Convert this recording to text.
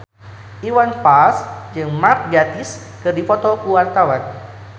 Iwan Fals jeung Mark Gatiss keur dipoto ku wartawan